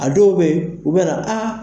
A dɔw bɛ yen u bɛ na aa.